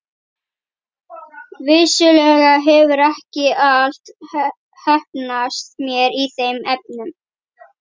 Vissulega hefur ekki allt heppnast mér í þeim efnum.